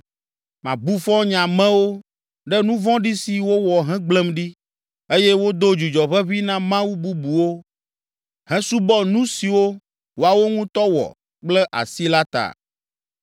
Mabu fɔ nye amewo ɖe nu vɔ̃ɖi si wowɔ hegblẽm ɖi, eye wodo dzudzɔ ʋeʋĩ na mawu bubuwo hesubɔ nu siwo woawo ŋutɔ wɔ kple asi la ta.